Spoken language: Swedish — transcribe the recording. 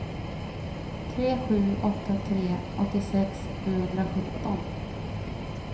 tre sju åtta tre åttiosex sjuhundrasjutton